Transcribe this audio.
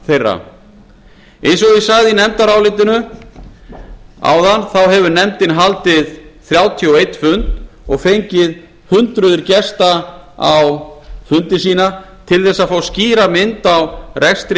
eins og ég sagði áðan stendur í nefndarálitinu að nefndin hefur haldið þrjátíu og einn fund og fengið hundruð gesta á fundi sína til að fá skýra mynd á rekstur